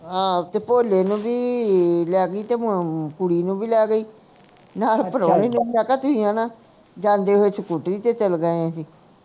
ਹਾਂ ਤੇ ਭੋਲੇ ਨੂੰ ਵੀ ਲੈਗੀ ਤੇ ਮੈਂ ਕੁੜੀ ਨੂੰ ਵੀ ਲੈ ਗਈ ਮੈਂ ਮੈਂ ਕਿਹਾ ਕਿ ਆਹਣੇ ਜਾਂਦੇ ਹੋਏ scooter ਤੇ ਚੱਲ ਗਏ ਅਸੀਂ